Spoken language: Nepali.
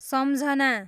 सम्झना